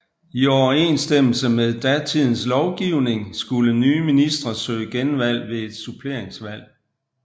I overensstemmelse med datidens lovgivning skulle nye ministre søge genvalg ved et suppleringsvalg